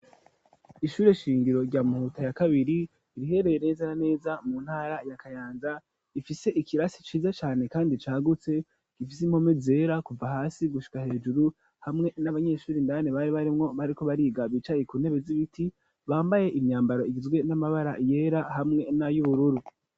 Ishure shingiro rya Muhuta ya kabiri rihereye neza na neza mu ntara ya Kayanza rifise ikirasi ciza cane kandi cagutse gifise impome zera kuva hasi gushika hejuru hamwe n'abanyeshuri indane bari barimwo bariko bariga bicaye ku ntebe z'ibiti bambaye imyambaro igizwe n'amabara yera hamwe nayu bururu.